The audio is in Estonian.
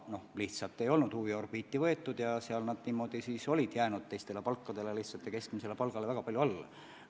Seda teemat lihtsalt ei olnud enne huviorbiiti võetud ja niimoodi olid need palgad teistele palkadele ja ka keskmisele palgale väga palju alla jäänud.